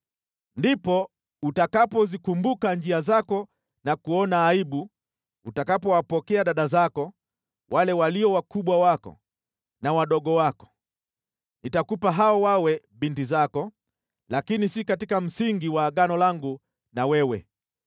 Ndipo utakapozikumbuka njia zako na kuona aibu utakapowapokea dada zako, wale walio wakubwa wako na wadogo wako. Nitakupa hao wawe binti zako, lakini si katika msingi wa Agano langu na wewe.